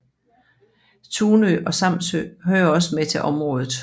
Tunø og Samsø hører også med til området